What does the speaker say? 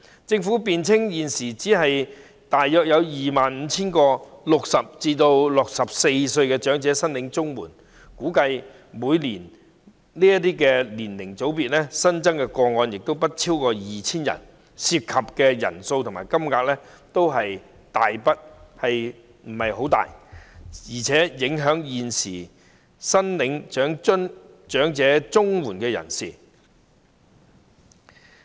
政府辯稱，現時只有大約 25,000 名60至64歲人士領取長者綜援，每年此年齡組別的新增個案估計亦不超過 2,000 宗，涉及的人數和金額都不是很大，更何況現時已領取長者綜援的人士不受影響。